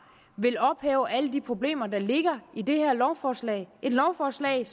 vil ophæve alle de problemer der ligger i det her lovforslag lovforslag